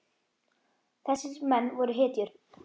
Þessir menn voru hetjur.